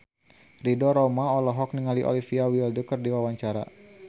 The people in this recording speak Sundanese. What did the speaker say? Ridho Roma olohok ningali Olivia Wilde keur diwawancara